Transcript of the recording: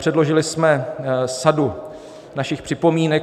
Předložili jsme sadu svých připomínek.